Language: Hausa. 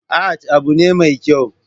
Art abu ne mai kyau